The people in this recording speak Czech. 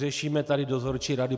Řešíme tady dozorčí rady.